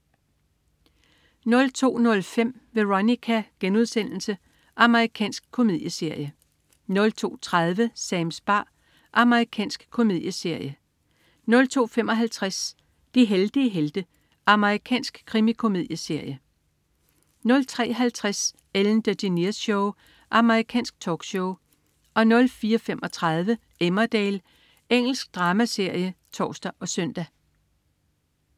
02.05 Veronica.* Amerikansk komedieserie 02.30 Sams bar. Amerikansk komedieserie 02.55 De heldige helte. Amerikansk krimikomedieserie 03.50 Ellen DeGeneres Show. Amerikansk talkshow 04.35 Emmerdale. Engelsk dramaserie (tors og søn)